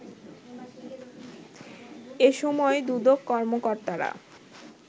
এসময় দুদক কর্মকর্তারা